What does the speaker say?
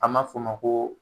A ma fɔ ma ko.